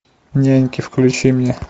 няньки включи мне